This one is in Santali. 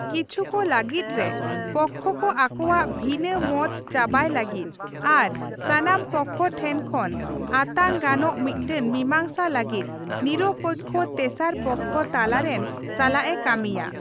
ᱠᱤᱪᱷᱩᱠ ᱞᱟᱹᱜᱤᱫ ᱨᱮ, ᱯᱚᱠᱠᱷᱚ ᱠᱚ ᱟᱠᱚᱣᱟᱜ ᱵᱷᱤᱱᱟᱹ ᱢᱚᱛ ᱪᱟᱵᱟᱭ ᱞᱟᱹᱜᱤᱫ ᱟᱨ ᱥᱟᱱᱟᱢ ᱯᱚᱠᱠᱷᱚ ᱴᱷᱮᱱ ᱠᱷᱚᱱ ᱟᱛᱟᱝ ᱜᱟᱱᱚᱜ ᱢᱤᱫᱴᱟᱝ ᱢᱤᱢᱟᱝᱥᱟ ᱞᱟᱹᱜᱤᱫ ᱱᱤᱨᱚᱯᱮᱠᱠᱷᱚ ᱛᱮᱥᱟᱨ ᱯᱚᱠᱠᱷᱚ ᱛᱟᱞᱟ ᱨᱮᱱ ᱥᱟᱞᱟᱜᱼᱮ ᱠᱟᱹᱢᱤᱭᱟ ᱾